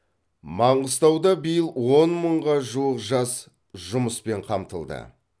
маңғыстауда биыл он мыңға жуық жас жұмыспен қамтылды